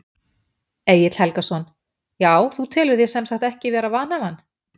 Egill Helgason: Já þú telur þig sem sagt ekki vera vanhæfan?